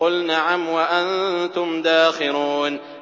قُلْ نَعَمْ وَأَنتُمْ دَاخِرُونَ